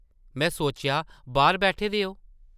में सोचेआ बाह्र बैठे दे ओ ।